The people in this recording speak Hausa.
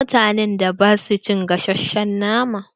Akwai mutanen da ba su cin gasashen nama.